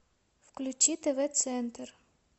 включи тв центр